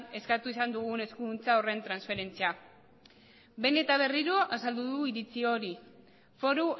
eskatu izan dugun eskuduntza horren transferentzia behin eta berriro azaldu du iritzi hori foru